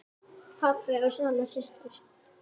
Pabbi og Svala systir.